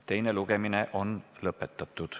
Teine lugemine on lõppenud.